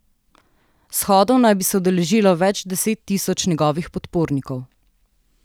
Shodov naj bi se udeležilo več deset tisoč njegovih podpornikov.